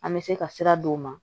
An bɛ se ka sira d'u ma